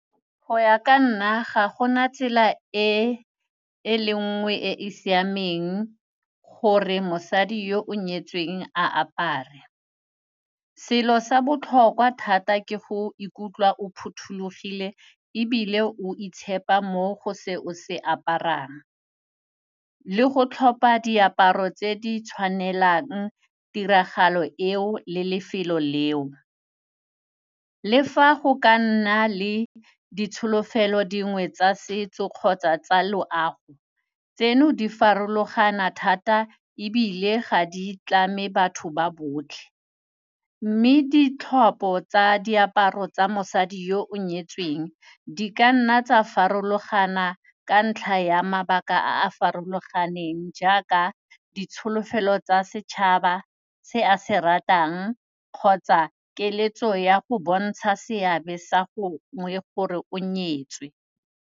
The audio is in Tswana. Go ya ka nna ga gona tsela e e le nngwe e e siameng gore mosadi yo o nyetsweng a apare. Selo sa botlhokwa thata ke go ikutlwa o phothulogile ebile o itshepa mo go se o se aparang le go tlhopa diaparo tse di tshwanelang tiragalo eo le lefelo leo. Le fa go ka nna le ditsholofelo dingwe tsa setso kgotsa tsa loago tseno di farologana thata ebile ga di tlame batho ba botlhe mme ditlhopho tsa diaparo tsa mosadi yo o nyetsweng di ka nna tsa farologana ka ntlha ya mabaka a a farologaneng jaaka ditsholofelo tsa setšhaba se a se ratang kgotsa keletso ya go bontsha seabe sa go gore o nyetswe.